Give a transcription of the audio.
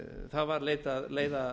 það var leitað leiða